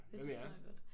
Det forstår jeg godt